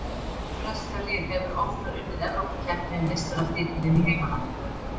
Hvaða breska lið hefur oftar unnið Evrópukeppni en meistaratitilinn í heimalandinu?